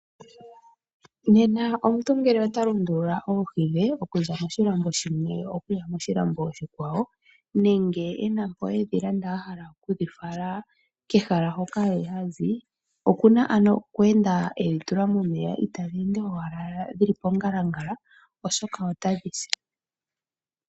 Nena omuntu ngele ota lundulula oohi dhe okuza moshilambo shimwe okuya moshilambo oshikwawo nenge e na mpo e dhi landa a hala okudhi fala kehala hoka hazi okuna ano okweenda e dhi tula momeya, itadhi ende owala dhi li pongalangala, oshoka otadhi si.